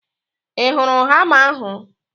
I hụrụ hama ahu?